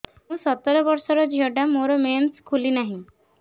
ମୁ ସତର ବର୍ଷର ଝିଅ ଟା ମୋର ମେନ୍ସେସ ଖୁଲି ନାହିଁ